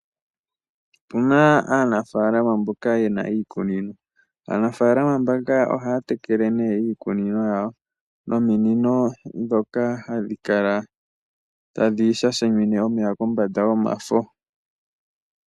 Opu na aanafalama mboka ye na iikunino. Aanafalama mbaka ohaya tekele iikunino yawo nominino ndhoka hadhi kala tadhi sha shimine omeya kombanda yomafo.